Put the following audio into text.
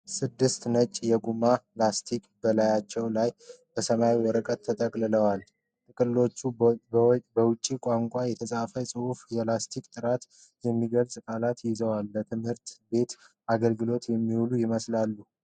ስድስት ነጭ የጎማ ላስቲኮች በላያቸው ላይ በሰማያዊ ወረቀት ተጠቅልለዏል። ጥቅልሎቹ በውጭ ቋንቋ የተፃፉ ጽሑፎችንና የላስቲኮችን ጥራት የሚገልጹ ቃላትን ይዘዋል፤ ለትምህርት ቤት አገልግሎት የሚውሉ ይመስላሉ።